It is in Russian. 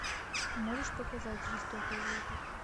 можешь показать жестокое лето